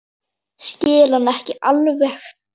Skil hann ekki alveg.